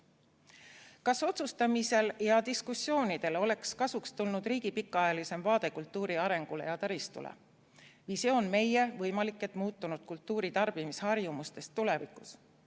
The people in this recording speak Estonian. Kas otsustamisele ja diskussioonidele oleks kasuks tulnud riigi pikaajalisem vaade kultuuri arengule ja taristule, visioon meie, võimalik et muutunud, kultuuritarbimise harjumuste kohta tulevikus?